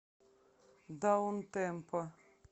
даунтемпо